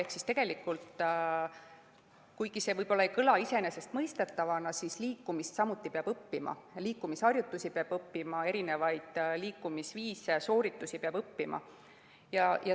Ehk tegelikult, kuigi see võib-olla ei kõla iseenesestmõistetavana, siis liikumist peab samuti õppima, liikumisharjutusi peab õppima, erinevaid liikumisviise, -sooritusi peab õppima.